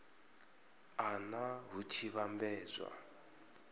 a nha hu tshi vhambedzwa